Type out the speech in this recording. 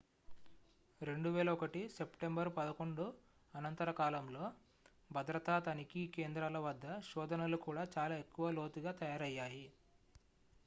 2001 September 11 అనంతర కాలంలో భద్రతా తనిఖీ కేంద్రాల వద్ద శోధనలు కూడా చాలా ఎక్కువ లోతుగా తయారయ్యాయి